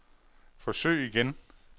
forsøg igen